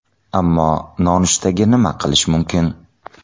Ammo nonushtaga nima qilish mumkin?